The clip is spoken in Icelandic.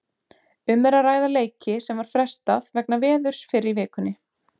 Um er að ræða leiki sem var frestað vegna veðurs fyrr í vikunni.